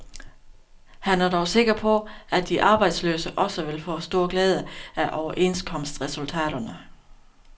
Han er dog sikker på, at de arbejdsløse også vil få stor glæde af overenskomstresultaterne.